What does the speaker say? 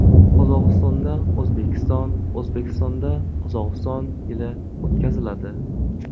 Qozog‘istonda O‘zbekiston, O‘zbekistonda Qozog‘iston yili o‘tkaziladi.